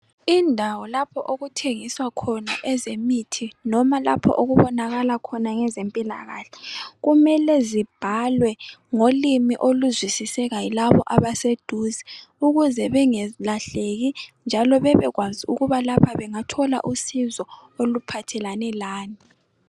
Indawo lapho okuthengiswa khona ezemithi noma lapho okubonakala khona ezempilakahle kumele zibhalwe ngolimi oluzwisiseka yilabo abaseduze ukuze bengalahleki njalo babekwazi ukuba lapha bangathola usizo oluphathelane lani.